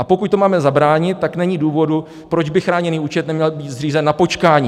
A pokud tomu máme zabránit, tak není důvodu, proč by chráněný účet neměl být zřízen na počkání.